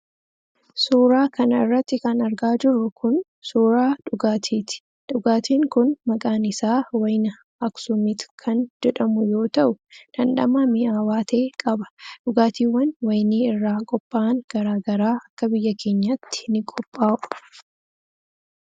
Suura kana irratti kan argaa jirru kun, suura dhugaatiiti. Dhugaatiin kun maqaan isaa wayina aksuumit kan jedhamu yoo ta'u, dhandhama mi'aawaa ta'e qaba. Dhugaatiiwwan wayinii irraa qopha'an graa garaa akka biyya keenyaatti ni qophaa'u.